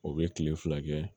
O bɛ kile fila kɛ